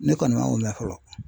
Ne kɔni man o la fɔlɔ.